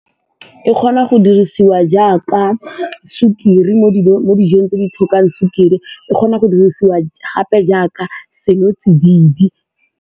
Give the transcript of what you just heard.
E kgona go dirisiwa jaaka sukiri mo dijong tse di tlhokang sukiri, e kgona go dirisiwa gape jaaka senotsididi.